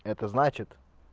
это значит